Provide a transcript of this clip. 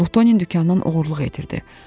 Lutoni dükandan oğruluq edirdi.